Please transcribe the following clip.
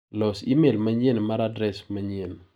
Los imel manyien mar adres manyien.